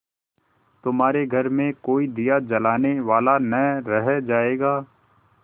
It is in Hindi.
तुम्हारे घर में कोई दिया जलाने वाला न रह जायगा